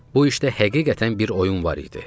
Bu işdə həqiqətən bir oyun var idi.